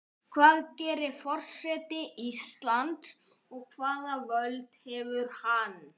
Hvað gerir forseti Íslands og hvaða völd hefur hann?